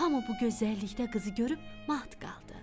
Hamu bu gözəllikdə qızı görüb mat qaldı.